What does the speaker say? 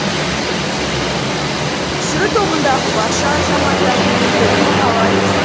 түсіру тобындағы барша азаматтардың еңбегін бағалаймыз